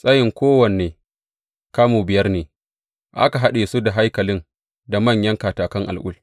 Tsayin kowanne, kamu biyar ne, aka haɗa su da haikalin da manyan katakan al’ul.